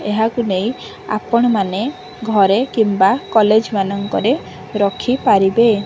ଏହାକୁ ନେଇ ଆପଣ ମାନେ ଘରେ କିମ୍ବା କଲେଜ ମାନଙ୍କରେ ରଖିପାରିବେ।